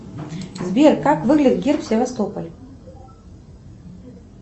сбер как выглядит герб севастополя